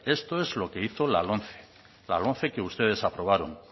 esto es lo que hizo la lomce la lomce que ustedes aprobaron